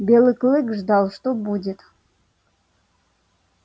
белый клык ждал что будет